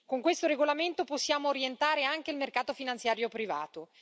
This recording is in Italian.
Con questo regolamento possiamo orientare anche il mercato finanziario privato.